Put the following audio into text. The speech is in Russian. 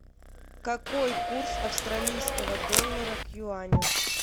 какой курс австралийского доллара к юаню